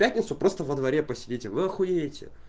пятницу просто во дворе посидеть вы ахуете